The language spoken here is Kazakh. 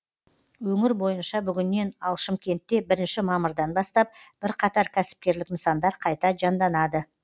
өңір бойынша бүгіннен ал шымкентте бірінші мамырдан бастап бірқатар кәсіпкерлік нысандар қайта жанданады